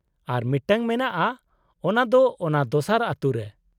-ᱟᱨ ᱢᱤᱫᱴᱟᱝ ᱢᱮᱱᱟᱜᱼᱟ ᱚᱱᱟ ᱫᱚ ᱚᱱᱟ ᱫᱚᱥᱟᱨ ᱟᱹᱛᱩ ᱨᱮ ᱾